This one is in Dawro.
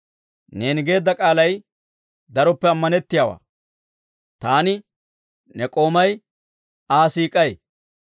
Neeni geedda k'aalay daroppe ammanettiyaawaa; taani, ne k'oomay Aa siik'ay.